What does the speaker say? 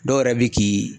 Dɔw yɛrɛ bi k'i